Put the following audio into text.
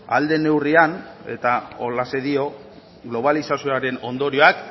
ahal den neurrian eta holaxe dio globalizazioaren ondorioak